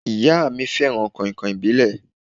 Ìyá mí fẹràn kàìnkàìn ìbílẹ̀.